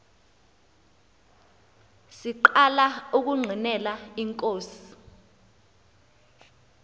siqala ukungqinela inkosi